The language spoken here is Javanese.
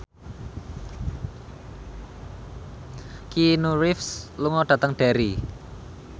Keanu Reeves lunga dhateng Derry